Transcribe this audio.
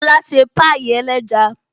Lóla ṣe pie ẹlẹ́ja